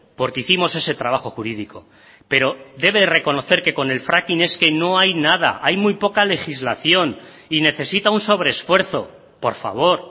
porque hicimos ese trabajo jurídico pero debe reconocer que con el fracking es que no hay nada hay muy poca legislación y necesita un sobreesfuerzo por favor